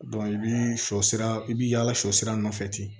i bi shɔ sira i bi yaala sɔ sira nɔfɛ ten